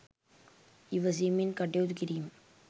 ඉවසීමෙන් කටයුතු කිරීම